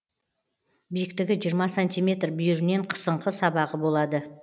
биіктігі жиырма сантиметр бүйірінен қысыңқы сабағы болады